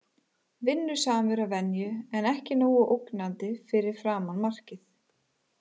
Vinnusamur að venju en ekki nógu ógnandi fyrir framan markið.